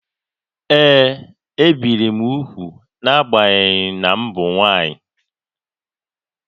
Ee, ebìri m úgwù n’agbanyeghị na m bụ nwaanyị